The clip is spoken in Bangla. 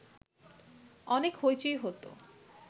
অনেক হৈচৈ হতো